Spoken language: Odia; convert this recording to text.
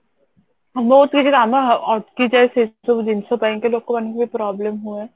ବହୁତ କିଛି ଲାଭ ଅଟକି ଯାଏ ସେ ସବୁ ଜିନଷ ପାଇଁକି ଲୋକମାନଙ୍କୁ ବି problem ହୁଏ